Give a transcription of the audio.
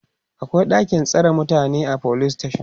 akwai ɗakin tsare mutane a police station